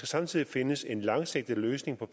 samtidig findes en langsigtet løsning på